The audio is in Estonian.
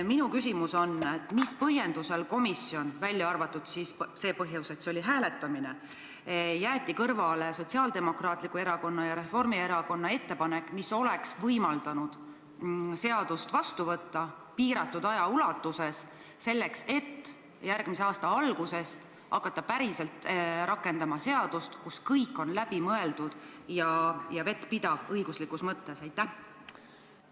Minu küsimus on, mis põhjendusel – välja arvatud see põhjus, et oli hääletamine – jättis komisjon kõrvale Sotsiaaldemokraatliku Erakonna ja Reformierakonna ettepaneku, mis oleks võimaldanud seaduse vastu võtta piiratud aja ulatuses, et järgmise aasta algusest hakata rakendama seadust, kus kõik oleks läbi mõeldud ja õiguslikus mõttes vettpidav?